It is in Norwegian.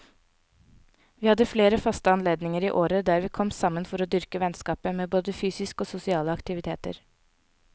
Vi hadde flere faste anledninger i året der vi kom sammen for å dyrke vennskapet med både fysiske og sosiale aktiviteter.